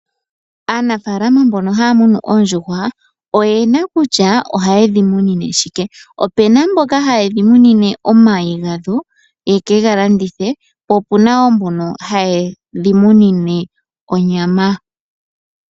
Aanafaalama mbono haa munu oondjuhwa oyena kutya ohaye dhi munine shike. Opena mboka haye dhi munine omayi gadho ye ke ga landithe, po opuna wo mbono haye dhi munine onyama.